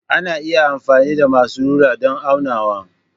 Ana iya amfani da masu rula don aunawa.